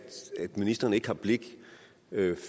ministeren ikke har blik